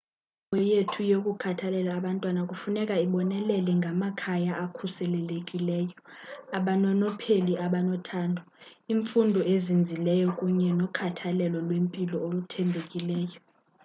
inkqubo yethu yokukhathalela abantwana kufuneka ibonelele ngamakhaya akhuselekileyo abanonopheli abanothando imfundo ezinzileyo kunye nokhathalelo lwempilo oluthembekileyo